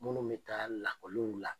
Munnu bɛ taa lakɔliw la